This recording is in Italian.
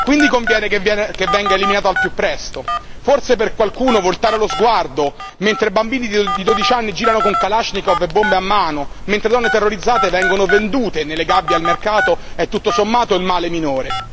Quindi conviene che venga eliminato al più presto, forse per qualcuno voltare lo sguardo mentre bambini di 12 anni girano con kalashnikov e bombe a mano, mentre donne terrorizzate vengono vendute nelle gabbie al mercato, è tutto sommato il male minore.